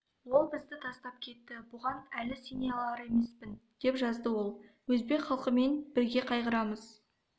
ол бізді тастап кетті бұған әлі сене алар емеспін деп жазды ол өзбек халқымен бірге қайғырамыз